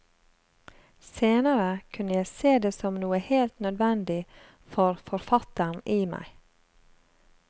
Senere kunne jeg se det som noe helt nødvendig for forfatteren i meg.